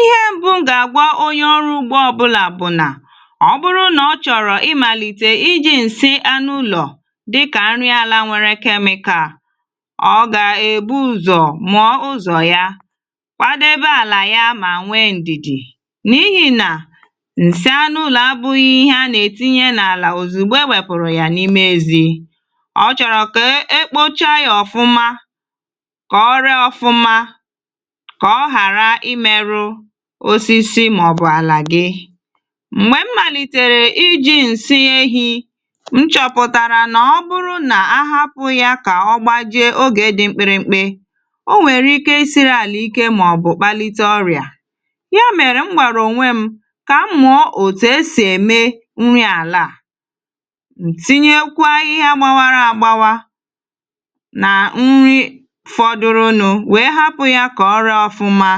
Ihe mbụ ga-agwa onye ọrụ ugbọ ọbụla bụ nà ọ bụrụ na ọ chọrọ ịmalite iji nsị anụ ụlọ̀ dịkà nrị àlà nwèrè chemical, ọ ga-ebu ụzọ̀ mụ̀ọ̀ ùzọ̀ yá, kwàdèbè àlà yá mà nwè ndịdị n'ịhì na nsị anụ ụlọ̀ àbụghị̀ ihè ànà-ètị̀nỳè n'álà òzùgbọ e wèpụ̀rụ̀ yá n'ime ezì. Ọ chọrọ̀ kà e kpochà yá ọ̀fụ̀mà kà ọ rìì ọ̀fụ̀mà, kà ọ ghàrà ịmèrụ̀ òsịsị mà ọ bụ àlà gị. M̀gbè m̀màlịtẹ̀rẹ̀ ịjị̀ nsị ehị, m chọ̀pụ̀tàrà nà ọ bụrụ nà àhàpụ̀ yá kà ọ gbàjị̀ ògè dị̀ mkpị̀rị̀ mkpị̀, ọ nwèrè ịkè ịsị̀rị̀ àlà ịkè mà ọ bụ̀ kpàlị̀tè ọ̀rị̀à; yá mèrè m gbàrà ọnwè m kà mụ̀ọ̀ òtù esì èmè nrị àlà à, ntị̀nyèkwà àhịhịa gbàwàrà àgbàwà nà nrị fọ̀dụ̀rụ̀nụ̀ nwè hàpụ̀ yá kà ọ rìì ọ̀fụ̀mà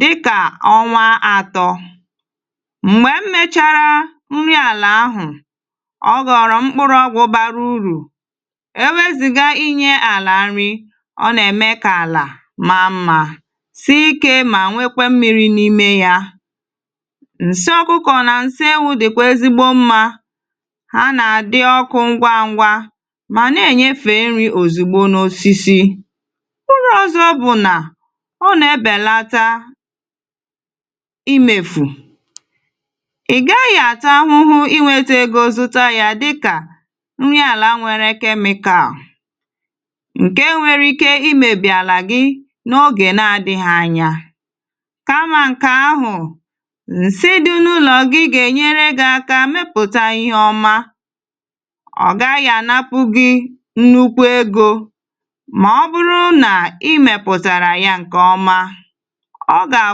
dịkà ọnwa àtọ̀. M̀gbè m mèchàrà nrị àlà àhụ̀, ọ ghọ̀rọ̀ mkpụ̀rụ̀ ọ̀gwụ̀ bàrà ùrụ̀ èwèzị̀gà ịnyè àlà nrị; ọ nà-èmè kà àlà màà mmà, sị̀ ịkè̀ mà nwèkwè mmị̀rị n'ime yá. Nsị ọ̀kụ̀kọ̀ nà nsị ewụ̀ dị̀kwà èzìgbọ mmà; hà nà-àdị̀ ọ̀kụ̀ ngwa ngwa mà nà-ènyèfè nrị òzìgbọ n'òsịsị. Ụ̀rụ̀ ọ̀zọ̀ bụ̀ nà ọ nà-èbèlàtà ịmèfù, ị gaghị̀ àtụ̀ àhụ̀hụ̀ ịnwètè egọ̀ zụ̀tà yá dịkà nrị àlà nwèrè chemical ǹke nwèrè ịkè ịmèbị̀ àlà gị n'ògè nà-àdị̀ghị̀ ànyà; kà mà ǹkè àhụ̀, nsị dị̀ n'ụlọ̀ ọ gị gà-ènyèrè gị àkà mèpụ̀tàghị̀ ihè ọ̀mà. Ọ gaghị̀ ànàpụ̀ gị nnùkụ̀ egọ̀ mà ọ bụrụ nà ịmèpụ̀tàrà yá ǹke ọ̀mà; ọ gà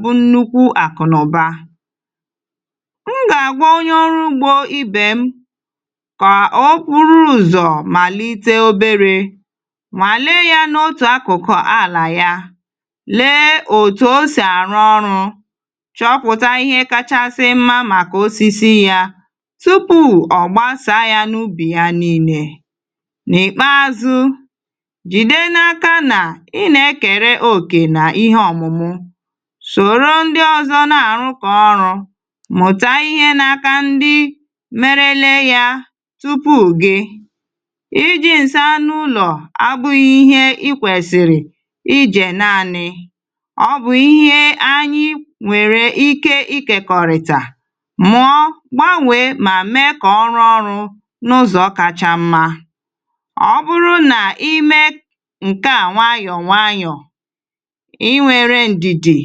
bụ nnùkụ̀ àkụ̀nọ̀bà. M gà-àgwa onye ọ̀rụ̀ ùgbọ̀ ibè m kà ọ bụrụ ụzọ̀ màlị̀tè òbèrè mà lị̀ì yá n'òtù àkụ̀kụ̀ àlà yá, lị̀ì òtù ò sì àrụ̀ ọ̀rụ̀, chọ̀pụ̀tà ihè kàchà mmà màkà òsịsị yá tupu ọ̀gbàsà yá n'ụbị̀ yá nị̀lì. N'ìkpèàzụ̀, jìde n'ákà nà ị nà èkèrè òkè n'ihè òmụ̀mụ̀ sòrò ndị̀ ọ̀zọ̀ nà-àrụ̀ kọ̀ọ̀ ọ̀rụ̀, mụ̀tà ihè n'ákà ndị̀ mèrèlè yá tupu gị. Iji nsị anụ ụlọ̀ à bụghị̀ ihè ị kwèsìrì ịjè nàànị̀; ọ bụ ihè ànyị nwèrè ịkè ịkèkọ̀rị̀tà, mụ̀ọ̀, gbànwè mà mèè kà ọ̀rụ̀ ọ̀rụ̀ n'ùzọ̀ kàchà mmà. Ọ bụrụ nà ịmè nke à nwàànyọ̀ nwàànyọ̀, ị wèrè ndịdị,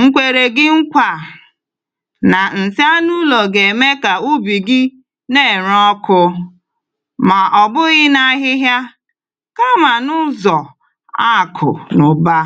nkwèrè gị nkwa nà nsị anụ ụlọ̀ gà-èmè kà ụbị̀ gị nà-èrè ọ̀kụ̀ mà ọ̀bụghị̀ nà àhịhịa, kà mà n'ùzọ̀ àkụ̀ nà ụ̀bà.